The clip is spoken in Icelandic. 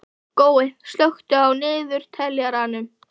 Gói, slökktu á niðurteljaranum.